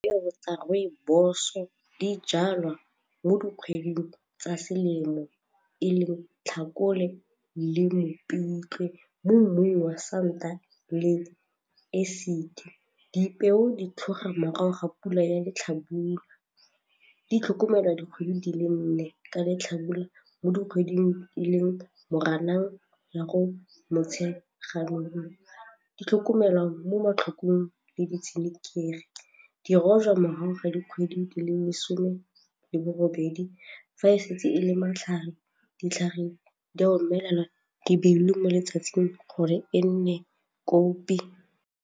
Dipeo tsa rooibos-o di jalwa mo dikgweding tsa selemo e le Tlhakole le Mopitlwe mo mmung wa santa le acid. Dipeo di tlhoga morago ga pula ya letlhabula di tlhokomelwa dikgwedi di le nne ka letlhabula mo dikgweding di le Moranang ya go Motsheganong, di tlhokomelwa mo matlhokong le ditshenekegi di rojwa morago ga dikgwedi di le lesome le bobedi fa e setse e le matlhare ditlhareng di di beile mo letsatsing gore e nne kopi.